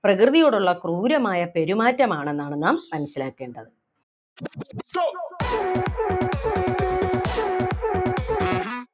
പ്രകൃതിയോടുള്ള ക്രൂരമായ പെരുമാറ്റം ആണെന്നാണ് നാം മനസ്സിലാക്കേണ്ടത്.